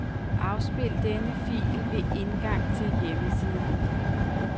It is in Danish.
Afspil denne fil ved indgang til hjemmeside.